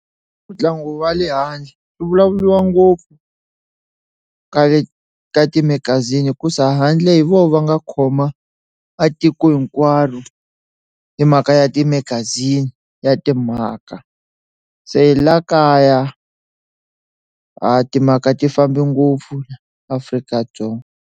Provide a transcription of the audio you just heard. Ntlangu wa le handle swi vulavuriwa ngopfu ka le ka timagazini ku se handle hi vona va nga khoma a tiko hinkwaro hi mhaka ya timagazini ya timhaka se la kaya a timhaka ti fambi ngopfu Afrika-Dzonga.